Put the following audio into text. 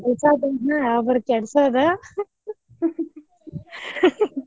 ಕೂಡ್ಸಾ ಕುಂತ್ನ ಒಬ್ರ ಕೆಡ್ಸೋದು .